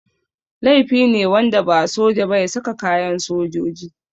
Laifi ne wanda ba soja ba ya saka kayan sojoji.